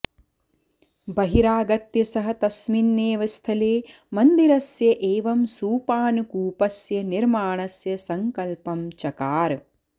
बहिरागत्य सः तस्मिन्नेव स्थले मन्दिरस्य एवं सोपानकूपस्य निर्माणस्य सङ्कल्पं चकार